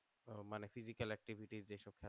মানে physical activities যেসব